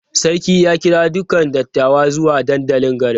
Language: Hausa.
Sarki ya kira dukan dattawa zuwa dandalin garin.